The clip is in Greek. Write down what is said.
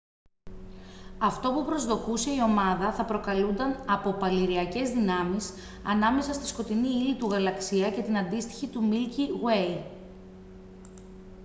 αυτό που προσδοκούσε η ομάδα θα προκαλούνταν από παλιρροιακές δυνάμεις ανάμεσα στη σκοτεινή ύλη του γαλαξία και την αντίστοιχη του μίλκι γουέι